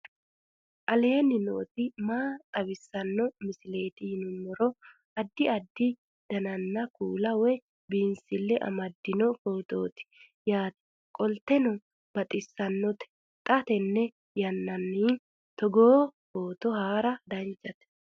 aleenni nooti maa xawisanno misileeti yinummoro addi addi dananna kuula woy biinsille amaddino footooti yaate qoltenno baxissannote xa tenne yannanni togoo footo haara danvchate